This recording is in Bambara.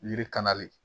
Yiri kan le